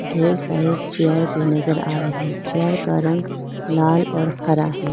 ढेर सारे चेयर भी नजर आ रहे चेयर का रंग लाल और हरा है।